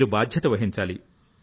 మీరు బాధ్యత వహించాలి